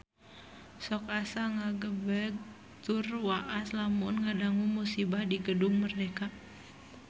Sok asa ngagebeg tur waas lamun ngadangu musibah di Gedung Merdeka